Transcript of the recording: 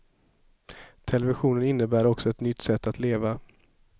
Televisionen innebar också ett nytt sätt att leva.